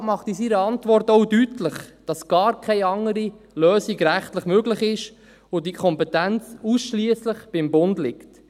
Der Regierungsrat macht in seiner Antwort auch deutlich, dass rechtlich gar keine andere Lösung möglich ist und dass diese Kompetenz ausschliesslich beim Bund liegt.